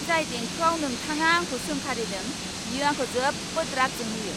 जाय देंखोआव नोंथाङा आंखौ सोंखारिदों, बियो आंखौ जोबोद राग जोंहोयो।